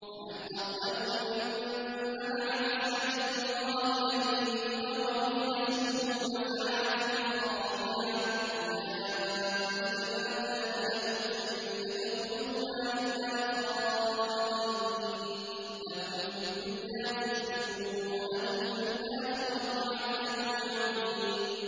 وَمَنْ أَظْلَمُ مِمَّن مَّنَعَ مَسَاجِدَ اللَّهِ أَن يُذْكَرَ فِيهَا اسْمُهُ وَسَعَىٰ فِي خَرَابِهَا ۚ أُولَٰئِكَ مَا كَانَ لَهُمْ أَن يَدْخُلُوهَا إِلَّا خَائِفِينَ ۚ لَهُمْ فِي الدُّنْيَا خِزْيٌ وَلَهُمْ فِي الْآخِرَةِ عَذَابٌ عَظِيمٌ